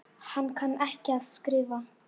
Hann kann ekki að skrifa.